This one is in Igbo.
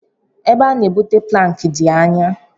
E be ha na-ebute plankị dị anyá.